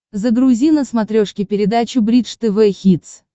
загрузи на смотрешке передачу бридж тв хитс